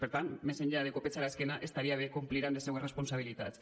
per tant més enllà de copets a l’esquena estaria bé complir amb les seues responsabilitats